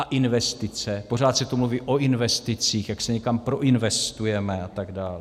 A investice - pořád se tu mluví o investicích, jak se někam proinvestujeme a tak dále.